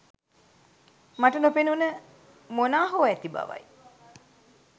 මට නොපෙනුන මොනා හෝ ඇති බවයි